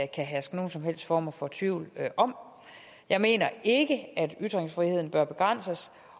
kan herske nogen som helst form for tvivl om jeg mener ikke at ytringsfriheden bør begrænses